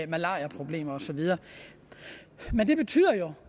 malariaproblemer og så videre men det betyder jo